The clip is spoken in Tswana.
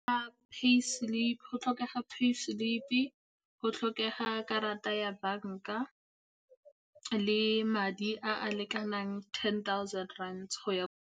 Go tlhokega pay slip-e, go tlhokega karata ya banka le madi a a lekanang ten thousand rands go ya.